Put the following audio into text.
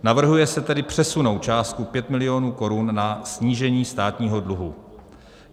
Navrhuje se tedy přesunout částku 5 milionů korun na snížení státního dluhu.